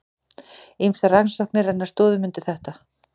Ýmsar rannsóknir renna stoðum undir þetta.